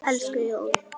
Elsku Jón.